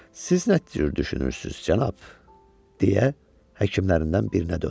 Siz nə cür düşünürsünüz, cənab, deyə həkimlərindən birinə döndü.